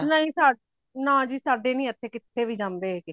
ਨਹੀਂ ਸਾ ਨਾਜ਼ੀ ਸਾਡੇ ਨਹੀਂ ਏਥੇ ਕਿੱਥੇ ਵੀ ਜਾਂਦੇ ਹੇਗੇ